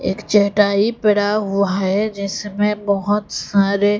एक चटाई पड़ा हुआ है जिसमें बहोत सारे--